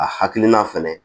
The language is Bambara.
A hakilina fɛnɛ